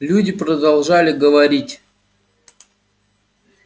люди продолжали говорить